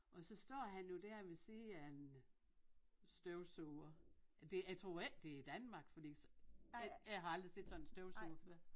Og så står han jo dér ved siden af en støvsuger det jeg tror ikke det er Danmark fordi jeg har aldrig set sådan en støvsuger før